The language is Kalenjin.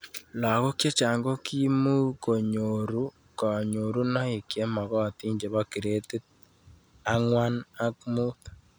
Lakok chechang' ko kimukonyoru kanyorunoik che magatin chepo gradit ang'wan ak mut